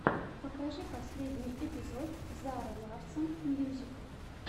покажи последний эпизод зары ларсон мьюзик